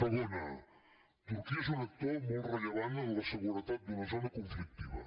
segona turquia és un actor molt rellevant en la seguretat d’una zona conflictiva